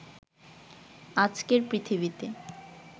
আজকের পৃথিবীতে